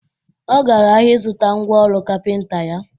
Ọ gara ahịa ịzụta ngwa ọrụ kapịnta ya